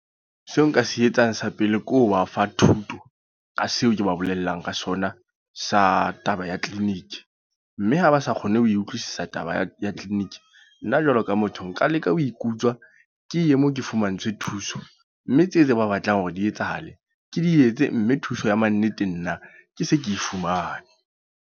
Seo nka se etsang sa pele ke ho ba fa thuto. Ka seo ke ba bolelang ka sona, sa taba ya clinic. Mme ha ba sa kgone ho e utlwisisa taba ya clinic. Nna jwalo ka motho, nka leka ho ikutswa ke ye moo ke fumantshwe thuso. Mme tseo tse ba batlang hore di etsahale. Ke di etse mme thuso ya mannete nna, ke se ke fumane.